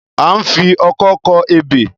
A ń fi ọkọ́ kọ ebè.